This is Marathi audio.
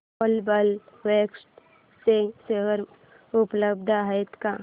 ग्लोबल वेक्ट्रा चे शेअर उपलब्ध आहेत का